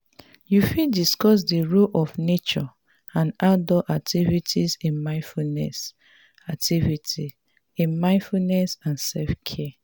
you fit discuss di role of nature and outdoor activities in mindfulness activities in mindfulness and self-care.